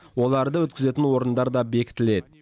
оларды өткізетін орындар да бекітіледі